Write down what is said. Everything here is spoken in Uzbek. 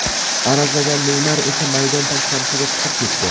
Arazlagan Neymar esa maydon tashqarisiga chiqib ketdi.